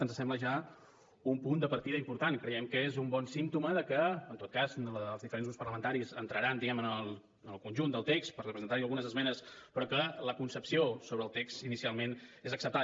ens sembla ja un punt de partida important i creiem que és un bon símptoma de que en tot cas els diferents grups parlamentaris entraran diguem ne en el conjunt del text per presentar hi algunes esmenes però que la concepció sobre el text inicialment és acceptada